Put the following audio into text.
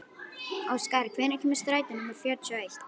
Óskar, hvenær kemur strætó númer fjörutíu og eitt?